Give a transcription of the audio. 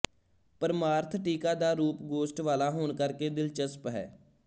ਪਰਮਾਰਥ ਟੀਕਾ ਦਾ ਰੂਪ ਗੋਸ਼ਟ ਵਾਲਾ ਹੋਣ ਕਰ ਕੇ ਦਿਲਚਸਪ ਹੈ